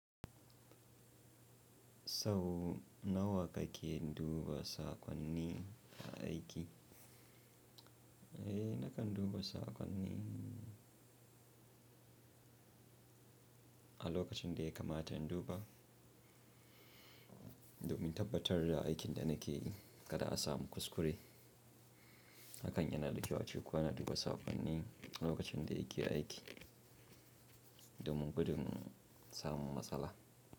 Sau nawa kake duba sakonni aiki? Eh, nakan duba sakonni a lokacin da ya kamata in duba domin tabbatar da aikin da nake yi kada a samu kuskure. Hakan yana da kyau ace kowa yana duba sakonni a lokacin da yake aiki domin gudin samun matsala.